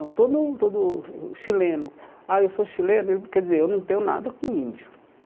Então, todo o todo o chileno... Ah, eu sou chileno, eu quer dizer, eu não tenho nada com índio.